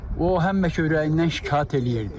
O həmişə ürəyindən şikayət eləyirdi.